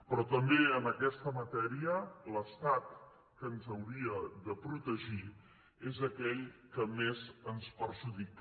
però també en aquesta matèria l’estat que ens hauria de protegir és aquell que més ens perjudica